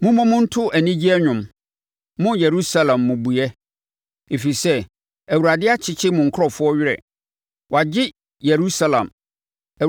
Mommɔ mu nto anigye nnwom, mo Yerusalem mmubuiɛ, ɛfiri sɛ, Awurade akyekye ne nkurɔfoɔ werɛ; wagye Yerusalem.